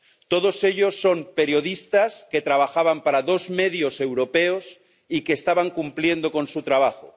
Todos ellos son periodistas que trabajaban para dos medios europeos y que estaban cumpliendo con su trabajo.